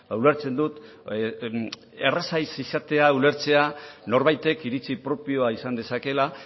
ulertzen dut erreza ez izatea ulertzea norbaitek iritzi propioa izan dezakeela